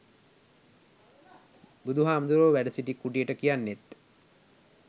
බුදු හාමුදුරුවො වැඩසිටි කුටියට කියන්නෙත්